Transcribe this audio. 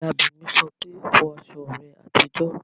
Ìyá Bùnmi sọ pé "wọ aṣọ rẹ àtijọ́!"